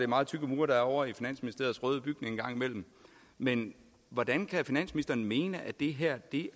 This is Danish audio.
meget tykke mure der er ovre i finansministeriets røde bygning engang imellem men hvordan kan finansministeren mene at det her